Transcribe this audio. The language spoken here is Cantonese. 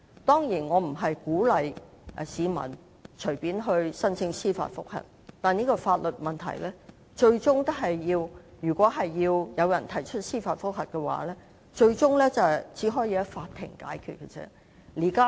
當然，我不是鼓勵市民隨便申請司法覆核，但就這個法律問題，如果最終有人提出司法覆核的話，也只可在法庭上解決。